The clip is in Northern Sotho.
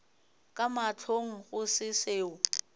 ka mahlong go se seo